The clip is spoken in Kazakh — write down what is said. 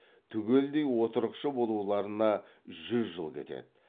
түгелдей отырықшы болуларына жүз жыл кетед